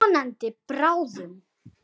Vonandi bráðum.